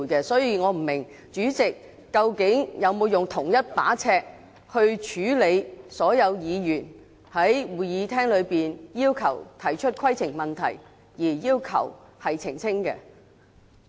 所以，我不知道主席究竟有沒有用同一把尺去處理所有議員在會議廳內提出的規程問題，而要求澄清。